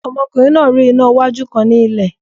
Ọmọkùnrin náà rí iná wájú kan ní ilẹ̀